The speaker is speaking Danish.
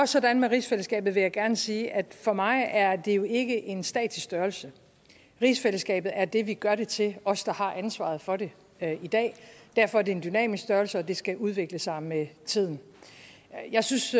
sådan med rigsfællesskabet vil jeg gerne sige at for mig er det jo ikke en statisk størrelse rigsfællesskabet er det vi gør det til os der har ansvaret for det i dag derfor er det en dynamisk størrelse og det skal udvikle sig med tiden jeg synes